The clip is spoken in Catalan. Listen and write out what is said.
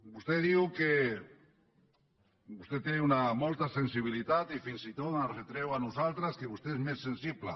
vostè diu que vostè té molta sensibilitat i fins i tot ens retreu a nosaltres que vostè és més sensible